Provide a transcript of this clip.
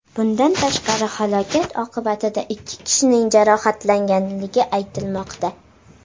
Bundan tashqari, halokat oqibatida ikki kishining jarohatlangani aytilmoqda.